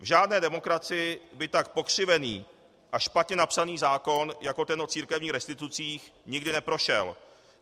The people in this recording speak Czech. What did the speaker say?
V žádné demokracii by tak pokřivený a špatně napsaný zákon jako ten o církevních restitucích, nikdy neprošel.